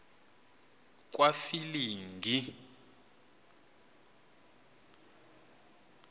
kwafilingi